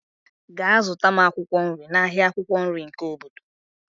Gaa zụta m akwụkwọ nri n'ahịa akwukwo nri nke obodo.